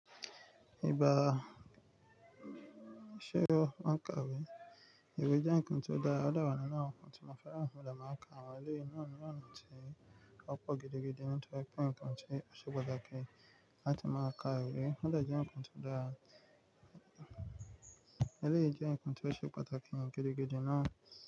Ìbá, ṣé o máa ń ka ìwé? Ìwé jẹ́ nǹkan ti ó dára, ó dẹ wa nínú àwọn nǹkan tí mo fẹ́ràn mo dẹ ma n ka àwọn eléyìí náà ni ọná tí ó pọ̀ gidigidi nítorí pé nǹkan tí ó ṣe pàtàkì láti máa ka ìwé. Ó dẹ jẹ nǹkan tó dára, Eleyìí jẹ́ nǹkan tí ó ṣe pàtàkì gidigidi náà.